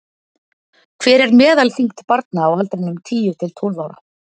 hver er meðalþyngd barna á aldrinum tíu til tólf ára